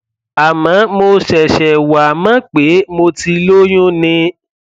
àmọ mo ṣẹṣẹ wá mọ pé mo ti lóyún ni